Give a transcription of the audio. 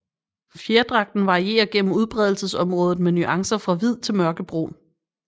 Fjerdragten varierer gennem udbredelsesområdet med nuancer fra hvid til mørkebrun